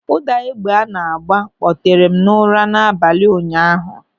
Ụda egbe a na-agba kpọtere m n'ụra n'abalị ụnyaahụ.